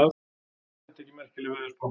Það þætti ekki merkileg veðurspá.